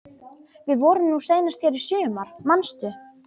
Við vorum nú seinast hér í sumar, manstu?